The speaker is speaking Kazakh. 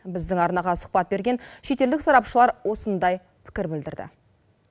біздің арнаға сұхбат берген шетелдік сарапшылар осындай пікір білдірді